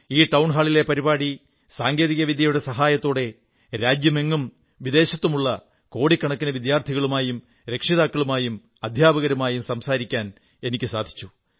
ഈ ടൌൺഹാളിൽ പരിപാടിയിൽ സാങ്കേതിക വിദ്യയുടെ സഹായത്തോടെ രാജ്യത്തും വിദേശത്തുമുള്ള കോടിക്കണക്കിന് വിദ്യാർഥികളുമായും രക്ഷിതാക്കളുമായും അധ്യാപകരുമായും സംസാരിക്കാൻ എനിക്കു സാധിച്ചു